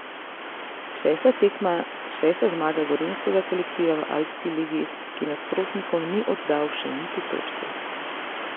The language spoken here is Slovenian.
Šesta tekma, šesta zmaga gorenjskega kolektiva v Alpski ligi, ki nasprotnikom ni oddal še niti točke.